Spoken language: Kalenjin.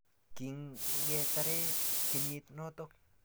kingetare kenyit noto